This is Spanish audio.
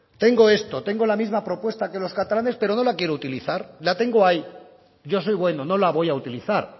tengo esto tengo la misma propuesta que los catalanes pero no la quiero utilizar la tengo ahí yo soy bueno no la voy a utilizar